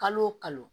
Kalo o kalo